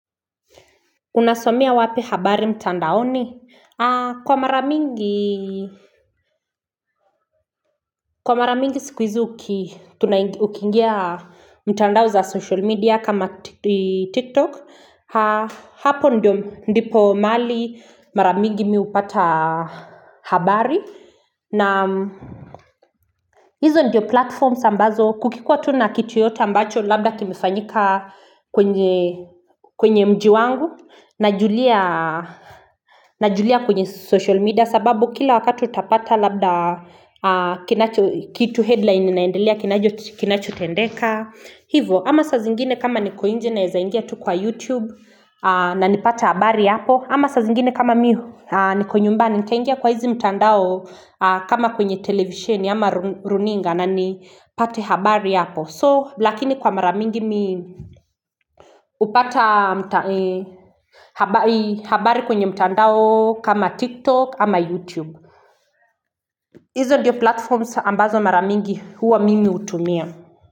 Unasomea wapi habari mtandaoni? Kwa mara mingi siku hizi ukiingia mitandao za social media kama TikTok. Hapo ndipo mahali mara mingi mi hupata habari. Na hizo ndio platforms ambazo kukikua tu na kitu yoyote ambacho labda kimefanyika kwenye mji wangu najulia kwenye social media. Kwa sababu kila wakati utapata labda kitu headline inaendelea kinachotendeka Hivo ama sa zingine kama niko nje naeza ingia tu kwa YouTube na nipate habari hapo ama sa zingine kama mi niko nyumbani nikaingia kwa hizi mtandao kama kwenye televisioni ama runinga na nipate habari hapo So lakini kwa mara mingi hupata habari kwenye mtandao kama TikTok ama YouTube hizo ndiyo platforms ambazo mara mingi huwa mimi hutumia.